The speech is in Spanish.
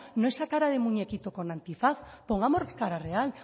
no esa cara de muñequito con antifaz pongamos cara real